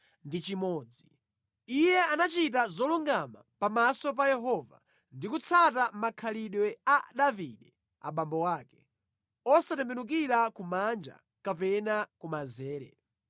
Iye anachita zolungama pamaso pa Yehova ndi kutsata makhalidwe a Davide abambo ake, osatembenukira kumanja kapena kumanzere.